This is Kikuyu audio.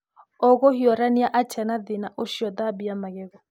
ũgũhiũrania atĩa na thĩna ũcio Thambia magego